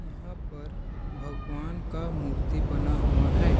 यहाँ पर भगवान का मूर्ति बना हुआ है।